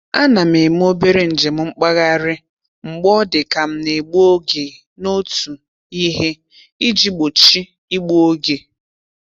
A na m eme obere njem mkpagharị mgbe ọ dị ka m na-egbu oge n'otu ihe iji gbochi igbu oge.